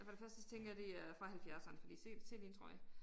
Og for det første så tænker jeg det er fra halvfjerdserne fordi se se lige en trøje